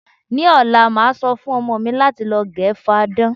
Ní ò̩la, màá so̩ fún o̩mo̩ mi láti lo̩ ge̩ fadán.